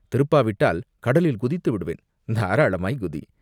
திருப்பாவிட்டால் கடலில் குதித்து விடுவேன்!" "தாராளமாய்க் குதி!